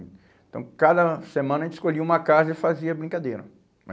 Então, cada semana, a gente escolhia uma casa e fazia brincadeira